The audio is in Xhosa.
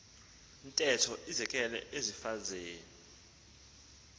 ntetho izekelwe ezimfazweni